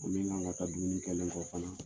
Min ka kan ka ta dumuni kɛlen kɔ fana.